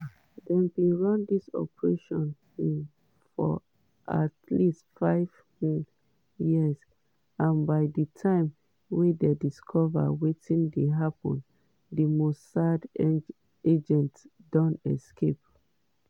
dem bin run dis operation um for at least five um years and by di time wey dem discover wetin dey happun di mossad agents don escape.